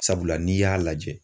Sabula n'i y'a lajɛ